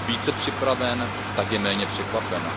více připraven, tak je méně překvapen.